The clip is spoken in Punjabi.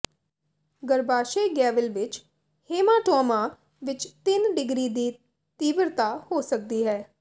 ਗਰੱਭਾਸ਼ਯ ਗੈਵਿਲ ਵਿੱਚ ਹੇਮਾਟੌਮਾ ਵਿੱਚ ਤਿੰਨ ਡਿਗਰੀ ਦੀ ਤੀਬਰਤਾ ਹੋ ਸਕਦੀ ਹੈ